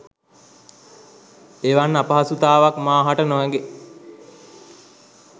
එවන් අපහසුතාවක් මා හට නොහැගේ